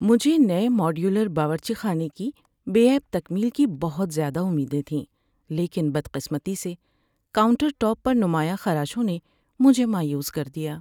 ‏مجھے نئے ماڈیولر باورچی خانے کی بے عیب تکمیل کی بہت زیادہ امیدیں تھیں لیکن بدقسمتی سے, کاؤنٹر ٹاپ پر نمایاں خراشوں نے مجھے مایوس کر دیا‏۔